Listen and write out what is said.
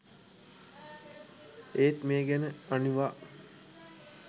ඒත් මේ ගැන අනිවා